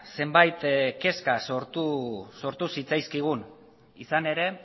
zenbait kezka sortu zitzaizkigun izan ere